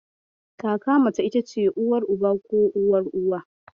Kaka mace ita ce Uwar Uba ko Uwar Uwa.